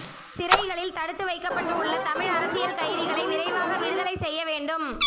சிறைகளில் தடுத்து வைக்கப்பட்டு உள்ள தமிழ் அரசியல் கைதிகளை விரைவாக விடுதலை செய்ய வேண்டும்